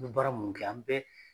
baara mun kɛ an bɛɛ